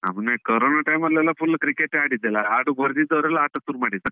ನಾವು corona time ಅಲ್ಲೆಲ್ಲ full cricket ಯೆ ಆಡಿದಲ್ಲ. ಆಟಕ್ಕ್ ಬರದಿದ್ದವರೆಲ್ಲ ಆಟ ಶುರು ಮಾಡಿದಲ್ಲ.